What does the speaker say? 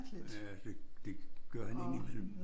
Ja det det gør han ind i mellem